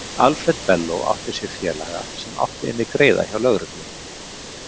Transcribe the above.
Alfred Bello átti sér félaga sem átti inni greiða hjá lögreglunni.